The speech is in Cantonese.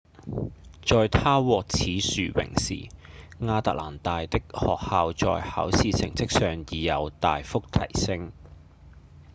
在她獲此殊榮之時亞特蘭大的學校在考試成績上已有大幅提升